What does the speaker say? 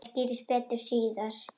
Þetta skýrist betur síðar.